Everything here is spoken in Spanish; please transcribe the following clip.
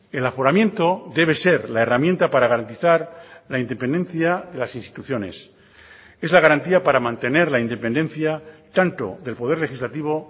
el aforamiento debe ser la herramienta para garantizar la independencia de las instituciones es la garantía para mantener la independencia tanto del poder legislativo